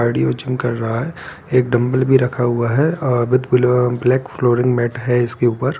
cardio gym कर रहा है एक डंबल भी रखा हुआ है और ब्लैक फ्लोरिंग मेट है इसके ऊपर --